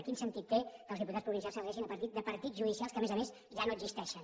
quin sentit té que els diputats provincials s’elegeixin a partir de partits judicials que a més a més ja no existeixen